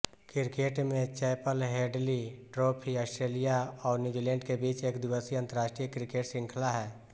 cricket में Chappell Hadley trophy Australia और New Zealand के बीच एक दिवसीय अंतर्राष्ट्रीय क्रिकेट श्रृंखला है